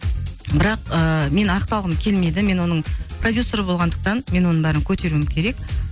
бірақ ыыы мен ақталғым келмеді мен оның продюссері болғандықтан мен оның бәрін көтеруім керек